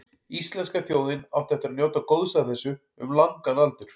Íslenska þjóðin átti eftir að njóta góðs af þessu um langan aldur.